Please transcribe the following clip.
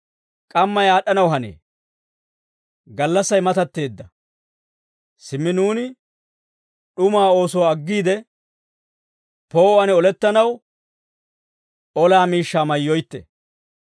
K'ammay aad'd'anaw hanee; gallassay matatteedda. Simmi nuuni d'umaa oosuwaa aggiide, poo'uwaan olettanaw, olaa miishshaa mayyoytte;